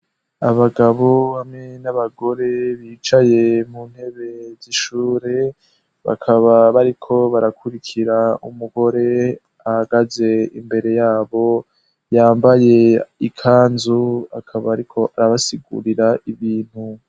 Abagabo bamwe n'abagore bicaye mu ntebe zishure bakaba bariko barakurikira umugore ahagaze imbere yabo yambaye ikanzu akaba, ariko arabasigurira ibintu.